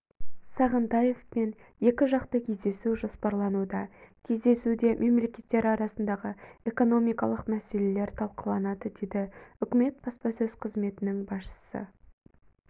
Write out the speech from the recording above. сағынтаевпен екіжақты кездесу жоспарлануда кездесуде мемлекеттер арасындағы экономикалық мәселелер талқыланады деді үкіметі баспасөз қызметінің басшысы